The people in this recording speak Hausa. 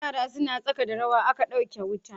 Yara suna tsaka da rawa aka dauke wuta.